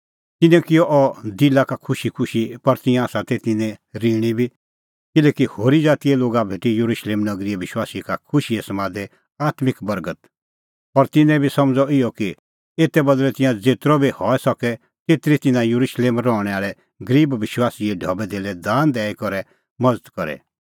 तिन्नैं किअ अह दिला का खुशीखुशी पर तिंयां आसा तै तिन्नैं ऋणी बी किल्हैकि होरी ज़ातीए लोगा भेटी येरुशलेम नगरीए विश्वासी का खुशीए समादे आत्मिक बर्गत और तिन्नैं बी समझ़अ इहअ कि एते बदल़ै तिंयां ज़ेतरअ बी हई सके तेतरी तिन्नां येरुशलेम रहणैं आल़ै गरीब विश्वासीए ढबैधेल्लै दान दैई करै मज़त करे